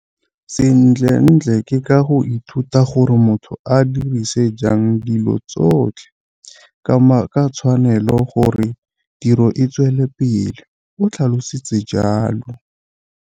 Sentlentle ke ka go ithuta gore motho a ka dirisa jang dilo tsotlhe ka tshwanelo gore tiro e tswele pele, o tlhalositse jalo.